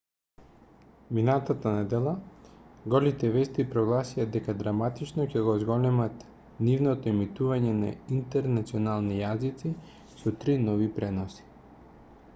минатата недела голите вести прогласија дека драматично ќе го зголемат нивното емитување на интернационални јазици со три нови преноси